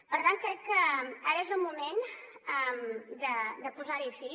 per tant crec que ara és el moment de posar·hi fi